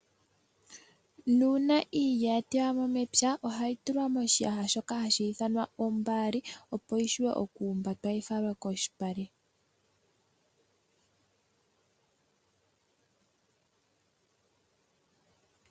Nuuna iilya yatewamwo mepya ohayi tulwa moshiyaha shoka hashithamwa ombali opo yivule okumbatwa yifalwe koshipale.